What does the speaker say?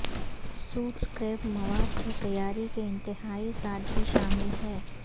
suit scrap مواد سے تیاری کے انتہائی سادگی شامل ہے